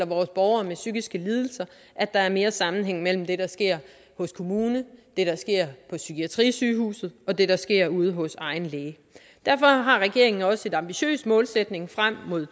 vores borgere med psykiske lidelser at der er mere sammenhæng mellem det der sker hos kommunen det der sker på psykiatrisygehuset og det der sker ude hos egen læge derfor har regeringen også en ambitiøs målsætning frem mod